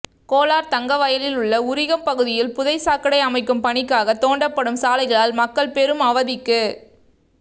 கோலார்தங்கவயலில் உள்ள உரிகம் பகுதியில் புதை சாக்கடை அமைக்கும் பணிக்காக தோண்டப்படும் சாலைகளால் மக்கள் பெரும் அவதிக்கு